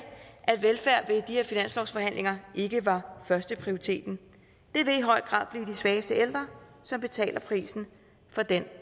at velfærd ved de her finanslovsforhandlinger ikke var førsteprioriteten det vil i høj grad blive de svageste ældre som betaler prisen for den